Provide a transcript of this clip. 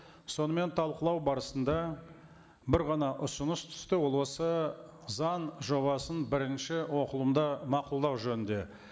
сонымен талқылау барысында бір ғана ұсыныс түсті ол осы заң жобасын бірінші оқылымда мақұлдау жөнінде